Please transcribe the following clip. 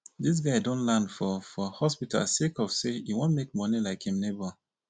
dis guy don land for for hospital sake of sey e wan make moni like im nebor